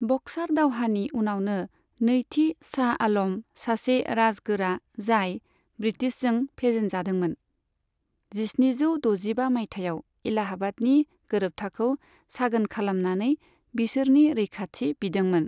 Berkshire दावहानि उनावनो, नैथि शाह आल'म, सासे जारगोरा जाय ब्रीटिशजों फेजेनजादोंमोन, जिस्निजौ द'जिबा मायथाइयाव एलाहाबादनि गोरोबथाखौ सागोन खालामनानै बिसोरनि रैखाथि बिदोंमोन।